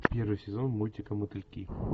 первый сезон мультика мотыльки